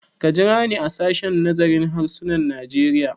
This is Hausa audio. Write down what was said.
Ka jira ni a sashen nazarin harsunan Najeriya!